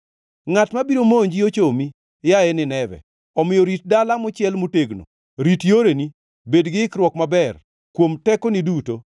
Ngʼat mabiro monji ochomi, yaye Nineve, omiyo rit dala mochiel motegno, rit yoreni, bed gi ikruok maber, kuom tekoni duto!